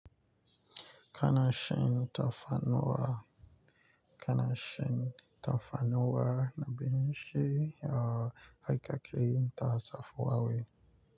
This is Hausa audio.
Kana shan tafarnuwa, kana shan tafarnuwa ga abinci a aikake na tsafuhawe.